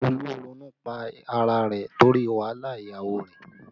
Olú ronú pá ara rẹ̀ torí wàhálà ìyàwó rẹ̀